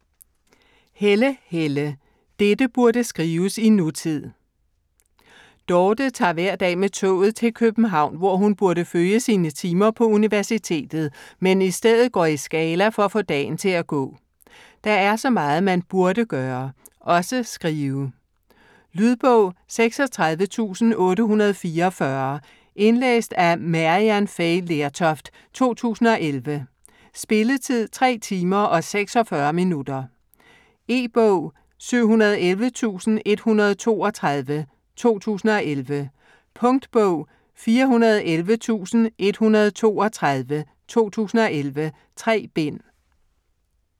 Helle, Helle: Dette burde skrives i nutid Dorte tager hver dag med toget til København, hvor hun burde følge sine timer på universitetet, men i stedet går i Scala for at få dagen til at gå. Der er så meget man burde gøre. Også skrive. Lydbog 36844 Indlæst af Maryann Fay Lertoft, 2011. Spilletid: 3 timer, 46 minutter. E-bog 711132 2011. Punktbog 411132 2011. 3 bind.